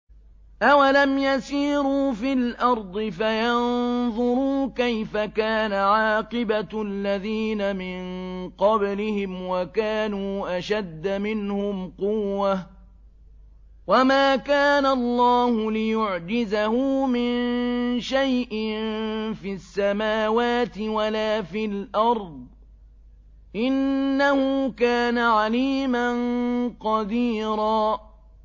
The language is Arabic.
أَوَلَمْ يَسِيرُوا فِي الْأَرْضِ فَيَنظُرُوا كَيْفَ كَانَ عَاقِبَةُ الَّذِينَ مِن قَبْلِهِمْ وَكَانُوا أَشَدَّ مِنْهُمْ قُوَّةً ۚ وَمَا كَانَ اللَّهُ لِيُعْجِزَهُ مِن شَيْءٍ فِي السَّمَاوَاتِ وَلَا فِي الْأَرْضِ ۚ إِنَّهُ كَانَ عَلِيمًا قَدِيرًا